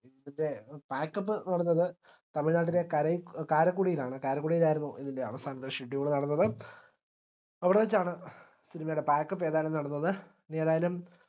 ന്റെ packup എന്ന് പറഞ്ഞത് തമിഴ്നാട്ടിലെ കരഴ്‌ കാരക്കുടിയിലാണ് കാരക്കുടിയിലായിരുന്നു ഇതിന്റെ അവസാനത്തെ schedule നടന്നത് അവിടെവെച്ചാണ് cinema യുടെ packup ഏതായാലും നടന്നത് ഇനി ഏതായാലും